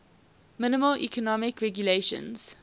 minimal economic regulations